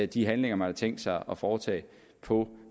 de handlinger man har tænkt sig at foretage på